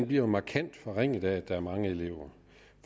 bliver markant forringet af at der er mange elever